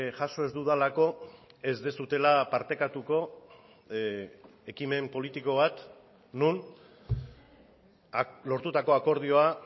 jaso ez dudalako ez duzuela partekatuko ekimen politiko bat non lortutako akordioa